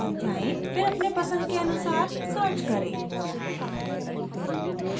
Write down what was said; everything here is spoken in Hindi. फिर अपने पसंद के अनुसार search करें